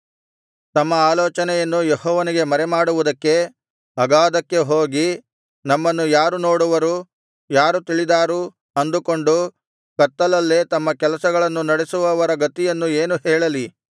ತಮ್ಮ ಆಲೋಚನೆಯನ್ನು ಯೆಹೋವನಿಗೆ ಮರೆಮಾಡುವುದಕ್ಕೆ ಅಗಾಧಕ್ಕೆ ಹೋಗಿ ನಮ್ಮನ್ನು ಯಾರು ನೋಡುವರು ಯಾರು ತಿಳಿದಾರು ಅಂದುಕೊಂಡು ಕತ್ತಲಲ್ಲೇ ತಮ್ಮ ಕೆಲಸಗಳನ್ನು ನಡೆಸುವವರ ಗತಿಯನ್ನು ಏನು ಹೇಳಲಿ